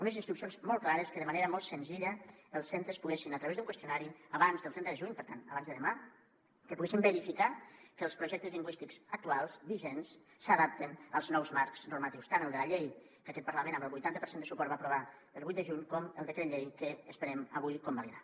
unes instruccions molt clares perquè de manera molt senzilla els centres poguessin a través d’un qüestionari abans del trenta de juny per tant abans de demà verificar que els projectes lingüístics actuals vigents s’adapten als nous marcs normatius tant el de la llei que aquest parlament amb el vuitanta per cent de suport va aprovar el vuit de juny com el decret llei que esperem avui convalidar